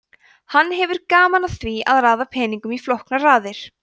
hann hefur gaman af því að raða peningum í flóknar raðir